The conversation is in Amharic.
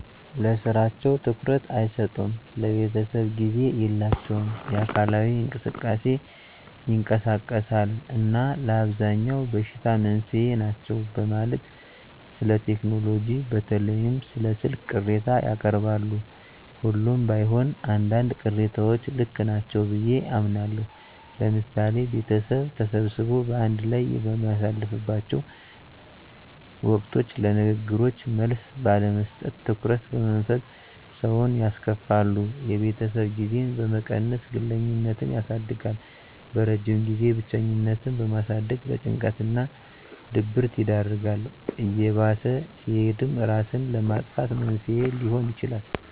ለስራቸው ትኩረት አይሰጡም፣ ለቤተሰብ ጊዜ የላቸውም፣ የአካላዊ እንቅስቃሴ ይቀንሳል እና ለአብዛኛው በሽታ መንስኤ ናቸው በማለት ስለቴክኖሎጂ በተለይም ስለ ስልክ ቅሬታ ያቀርባሉ። ሁሉም ባይሆን አንዳንድ ቅሬታዎች ልክ ናቸው ብየ አምናለሁ። ለምሳሌ ቤተሰብ ተሰብስቦ በአንድ ላይ በሚያሳልፍላቸው ወቅቶች ለንግግሮች መልስ ባለመስጠት፣ ትኩረት በመንፈግ ሰውን ያስከፋሉ። የቤተሰብ ጊዜን በመቀነስ ግለኝነትን ያሳድጋል። በረጅም ጊዜም ብቸኝነትን በማሳደግ ለጭንቀት እና ድብረት ይዳርጋል። እየባሰ ሲሄድም እራስን ለማጥፋት መንስኤ ሊሆን ይችላል።